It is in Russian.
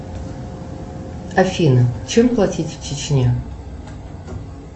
афина чем платить в чечне